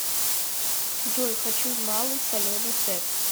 джой хочу малый соленый сет